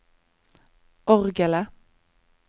orgelet